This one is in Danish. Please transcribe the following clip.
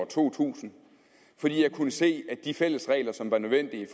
to tusind fordi jeg kunne se at de fælles regler som var nødvendige